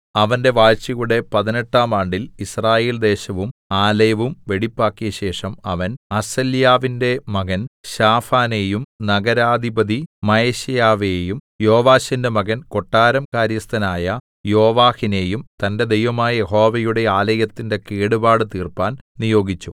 അവന്റെ വാഴ്ചയുടെ പതിനെട്ടാം ആണ്ടിൽ യിസ്രായേൽ ദേശവും ആലയവും വെടിപ്പാക്കിയശേഷം അവൻ അസല്യാവിന്റെ മകൻ ശാഫാനെയും നഗരാധിപതി മയശേയാവെയും യോവാശിന്റെ മകൻ കൊട്ടാരം കാര്യസ്ഥനായ യോവാഹിനെയും തന്റെ ദൈവമായ യഹോവയുടെ ആലയത്തിന്റെ കേടുപാട് തീർപ്പാൻ നിയോഗിച്ചു